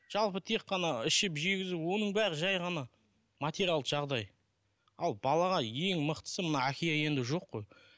жалпы тек қана ішіп жегізіп оның бәрі жай ғана материалдық жағдай ал балаға ең мықтысы мына әке енді жоқ қой